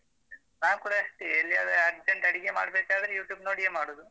ನಾನ್ ಕೂಡ ಅಷ್ಟೇ ಎಲ್ಲಿಯಾದ್ರೂ urgent ಅಡಿಗೆ ಮಾಡ್ಬೇಕಾದ್ರೆ YouTube ನೋಡಿಯೇ ಮಾಡುದು.